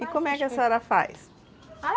E como é que a senhora faz?